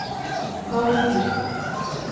калуги